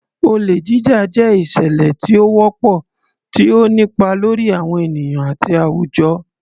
Olè Jíjà jẹ́ ìṣẹ̀lẹ̀ tí ó wọ́pọ̀, tí ó ń nípa lórí àwọn ènìyàn àti àwùjọ.